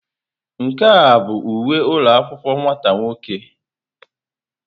Nke a ọ bụ uwe ụlọ akwụkwọ nwata nwoke?